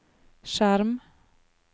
skjerm